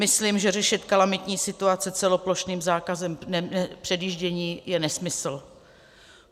Myslím, že řešit kalamitní situaci celoplošným zákazem předjíždění je nesmysl.